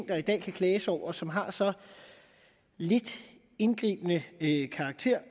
der i dag kan klages over som har så lidt indgribende karakter